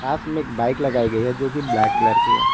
पास में एक बाइक लगाई गई है जो की ब्लैक कलर की है।